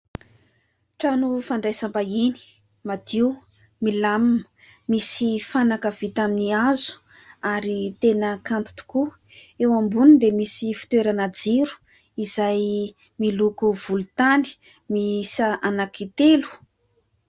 Trano fandraisam-bahiny madio, milamima misy fanaka vita amin'ny hazo ary tena kanto tokoa. Eo amboniny dia misy fitoerana jiro izay miloko volontany misa anakitelo.